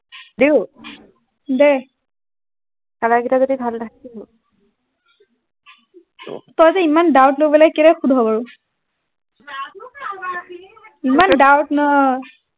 দিও দে color গিতা যদি ভাল নাহে কিহব তইযে ইমান doubt লৈ পেলাই কেলৈ সোধ বাৰু এইমন doubt ন